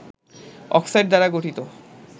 oxide দ্বারা গঠিত